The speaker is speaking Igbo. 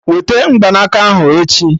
Wete Mgbanaka ahụ echi!